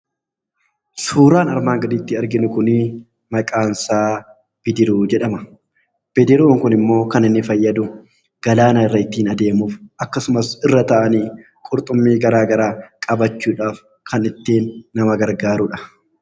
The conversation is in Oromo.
Suuraan armaan gaditti arginu kun maqaansaa bidiruu jedhama. Bidiruun kunimmoo kan inni fayyadu galaana irra ittiin adeemuuf akkasumas irra taa'anii qurxummii garaagaraa qabachuudhaaf kan ittiin nama gargaaruudha.